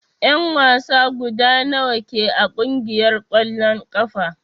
En wasa guda nawa ke a kungiyar kwalln kafa?